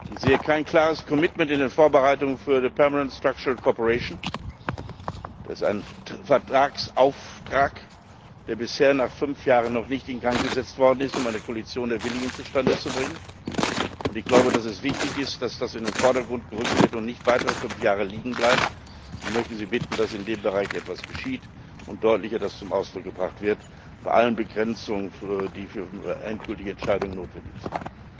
Ich sehe kein klares Engagement in den Vorbereitungen für eine permanent structural cooperation das ist ein Vertragsauftrag, der bisher nach fünf Jahren noch nicht in Gang gesetzt worden ist, um eine Koalition der Willigen zustande zu bringen. Und ich glaube, dass es wichtig ist, dass das in den Vordergrund gerückt wird und nicht weitere fünf Jahre liegenbleibt, und möchte Sie bitten, dass in dem Bereich etwas geschieht und das deutlicher zum Ausdruck gebracht wird bei allen Begrenzungen, die für die endgültige Entscheidung notwendig sind.